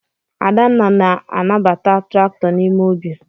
Adanna na-anyabata traktọ n'ime ubi.